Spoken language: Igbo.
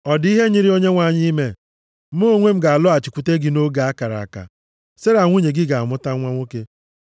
Ọ dị ihe nyịrị Onyenwe anyị ime? Mụ onwe m ga-alọghachikwute gị nʼoge a kara aka, Sera nwunye gị ga-amụta nwa nwoke.”